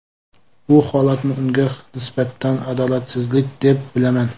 Bu holatni unga nisbatan adolatsizlik deb bilaman.